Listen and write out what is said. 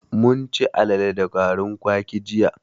Mun chi alale da garin kwaki jiya.